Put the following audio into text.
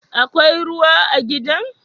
Akwai ruwa a gidan?